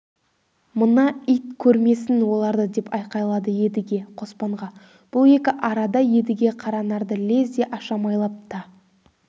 мына ит көрмесін оларды деп айқайлады едіге қоспанға бұл екі арада едіге қаранарды лезде ашамайлап та